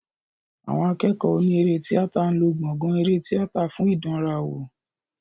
Àwọn akẹ́kọ̀ọ́ oní eré tíátà ń lò gbọ̀gàn eré tíátà fún ìdánrawò.